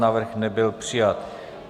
Návrh nebyl přijat.